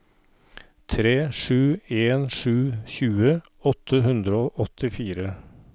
tre sju en sju tjue åtte hundre og åttifire